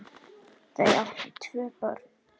Þau áttu tvö börn.